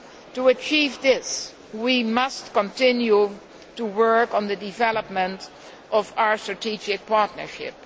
To achieve this, we must continue to work on the development of our strategic partnership.